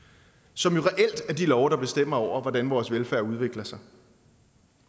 som jo reelt er de love der bestemmer hvordan vores velfærd udvikler sig